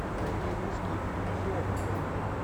найди русский иллюзион на тв